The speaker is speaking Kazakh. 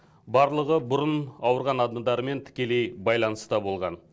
барлығы бұрын ауырған адамдармен тікелей байланыста болған